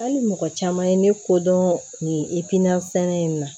Hali mɔgɔ caman ye ne ko dɔn nin sɛnɛ in na